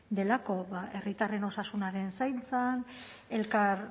delako bada herritarren osasunaren zaintzan elkar